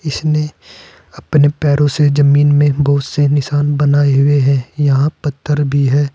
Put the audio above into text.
इसने अपने पैरो से जमीन में बुहत से निशाना बनाए हुए है यहां पत्थर भी है।